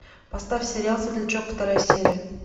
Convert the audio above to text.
поставь сериал светлячок вторая серия